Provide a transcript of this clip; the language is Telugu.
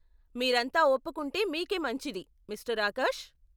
మీరంతా ఒప్పుకుంటే మీకే మంచిది, మిస్టర్ ఆకాష్.